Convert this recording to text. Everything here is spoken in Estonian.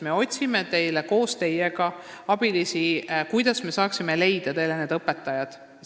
Me otsime teile koos teiega abilisi, mõtleme, kuidas me saaksime teile need õpetajad leida.